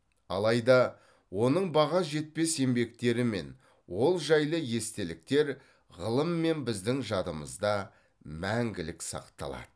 алайда оның баға жетпес еңбектері мен ол жайлы естеліктер ғылым мен біздің жадымызда мәңгілік сақталады